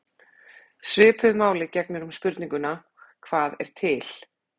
Svipuðu máli gegnir um spurninguna: Hvað er til?